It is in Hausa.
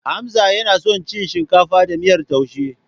Hamza yana son cin shinkafa da miyar taushe.